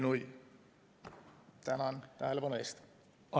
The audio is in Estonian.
Tänan tähelepanu eest!